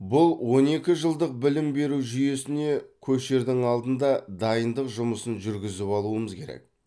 бұл он екі жылдық білім беру жүйесіне көшердің алдында дайындық жұмысын жүргізіп алуымыз керек